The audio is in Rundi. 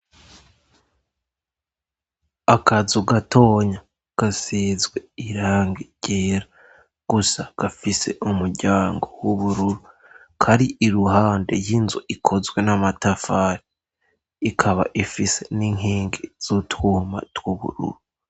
Akazu gatonya gasizwe irangi ryera gusa gafise umuryango w'ubururu kari iruhande y'inzu ikozwe n'amatafari ikaba ifise n'inkingi z'utwuma tw'ubururu.